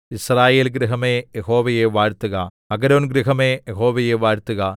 യിസ്രായേൽ ഗൃഹമേ യഹോവയെ വാഴ്ത്തുക അഹരോൻഗൃഹമേ യഹോവയെ വാഴ്ത്തുക